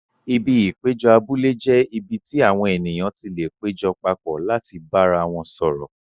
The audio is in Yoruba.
Ibi ìpéjọ abúlé jẹ́ ibi tí àwọn ènìyàn ti lè péjọ papọ̀ láti bára wọn sọ̀rọ̀.